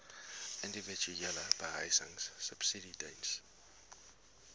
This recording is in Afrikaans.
individuele behuisingsubsidies diens